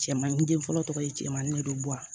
Cɛmanin den fɔlɔ tɔgɔ ye cɛmannin ne bɛ bɔ a